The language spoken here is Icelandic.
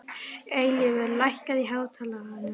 Eilífur, lækkaðu í hátalaranum.